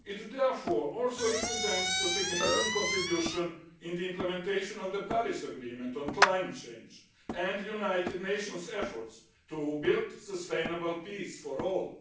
Therefore it also represents a significant contribution to the implementation of the Paris Agreement on climate change and the United Nations' efforts to build sustainable peace for all.